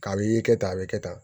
Ka i kɛ tan a bɛ kɛ tan